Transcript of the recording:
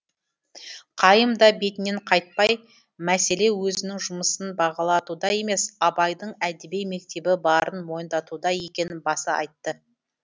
қайым да бетінен қайтпай мәселе өзінің жұмысын бағалатуда емес абайдың әдеби мектебі барын мойындатуда екенін баса айтты